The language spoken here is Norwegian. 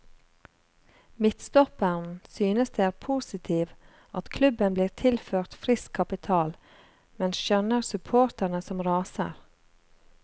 Midtstopperen synes det er positiv at klubben blir tilført frisk kapital, men skjønner supporterne som raser.